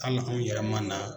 Kalo anw yɛrɛ man na.